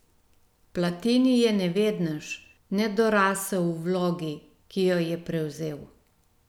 Platini je nevednež, nedorasel vlogi, ki jo je prevzel.